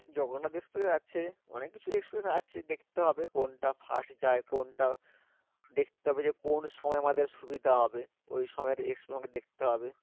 Jagannath express আছে অনেক কিছু express আছে দেখতে হবে কোনটা fast যায় কোনটা দেখতে হবে কোন সময় আমাদের সুবিধা হবে ঐ সময়ে express আমাদের দেখতে হবে